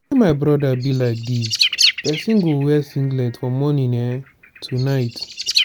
why my broda be like dis. person go wear singlet from morning um to night